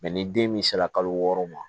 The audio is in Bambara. ni den min sera kalo wɔɔrɔ ma